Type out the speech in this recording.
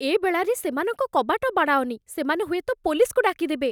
ଏ ବେଳାରେ ସେମାନଙ୍କ କବାଟ ବାଡ଼ାଅନି । ସେମାନେ ହୁଏତ ପୋଲିସ୍‌କୁ ଡାକିଦେବେ ।